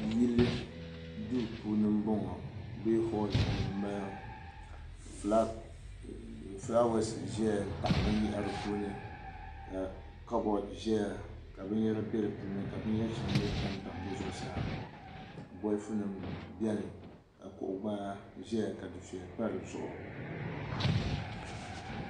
Yili duu puuni n boŋo bee holl puuni n bala fulaawaasi n taɣa binyahari puuni ka kabodi ʒɛya ka binyɛra bɛ di puuni ka binyɛri shɛŋa mii tamtam di zuɣusaa bolfu nim biɛni ka kuɣu gbara ʒɛya ka dufɛya pa di zuɣu